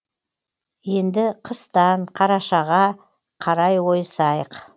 енді қыстан қарашаға қарай ойысайық